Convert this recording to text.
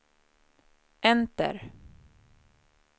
enter